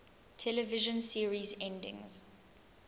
television series endings